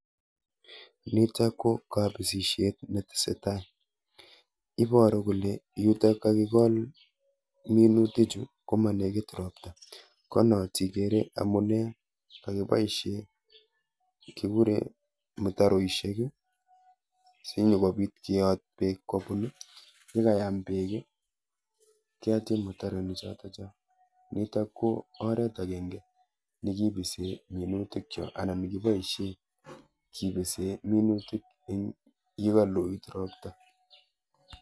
Nitok Koo lapisisheeet netesetai iparuu koeee yutok yuu kakikol. minutik KO mamii roptaaaaa nitok KO oret agenge nakipaisheeee kipisiii minutik chutok Eng olimamii roptaaaa